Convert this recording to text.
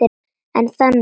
En þagði.